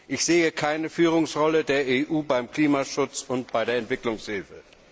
Ich sehe keine Führungsrolle der EU beim Klimaschutz und bei der Entwicklungshilfe.